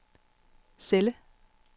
celle